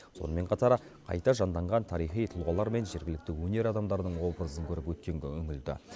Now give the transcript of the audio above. сонымен қатар қайта жанданған тарихи тұлғалар мен жергілікті өнер адамдарының образын көріп өткенге үңілді